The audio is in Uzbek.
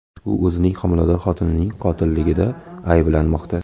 U o‘zining homilador xotinining qotilligida ayblanmoqda.